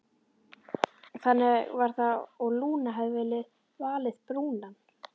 Þannig var það og Lúna hafði valið Brúnan.